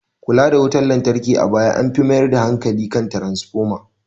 Kula da wutar lantarki a baya an fi mayar da hankali kan tranafoma